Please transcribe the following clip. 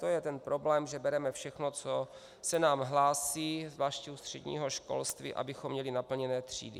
To je ten problém, že bereme všechno, co se nám hlásí, zvláště u středního školství, abychom měli naplněné třídy.